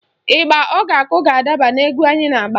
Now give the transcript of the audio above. Ịgba ọ ga-akụ ga-adaba n'egwu anyị na-agba